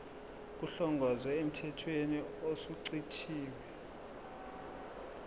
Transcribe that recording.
kuhlongozwe emthethweni osuchithiwe